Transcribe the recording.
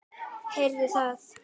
Heyrðu það!